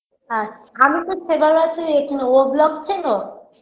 আচ আমি তো সেভার এখানে o block চেনো